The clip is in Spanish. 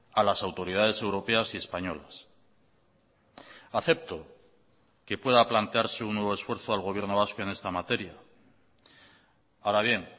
a las autoridades europeas y españolas acepto que pueda plantearse un nuevo esfuerzo al gobierno vasco en esta materia ahora bien